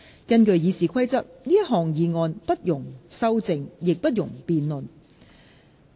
根據《議事規則》，這項議案不容修正，亦不容辯論。